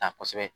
Ta kosɛbɛ